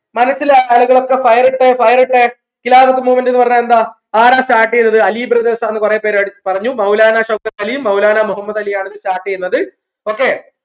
മനസ്സിലായവരൊക്കെ fire ഇട്ടേ fire ഇട്ടേ Khilafath movement ന്ന് പറഞ്ഞ എന്താ ആരാ start ചെയ്തത് അലി brothers ആണെന്ന് കുറെ പേര് അഹ് പറഞ്ഞു മൗലാന ഷൗക്കത്ത് അലിയും മൗലാന മുഹമ്മദ് അലിയും ആണ് ഇത് start ചെയ്യുന്നത് okay